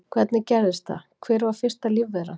Hvernig gerðist það, hver var fyrsta lífveran?